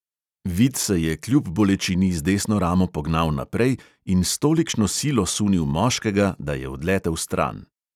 Vid se je kljub bolečini z desno ramo pognal naprej in s tolikšno silo sunil moškega, da je odletel stran.